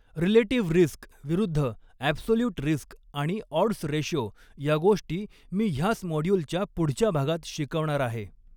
Relative risk विरुद्ध absolute risk आणि odds ratio या गोष्टी मी ह्याच मॉड्यूलच्या पुढच्या भागात शिकवणार आहे.